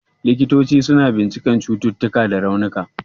Likitoci suna bincikar cututtuka da raunuka.